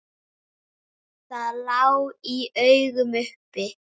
Það lá í augum uppi.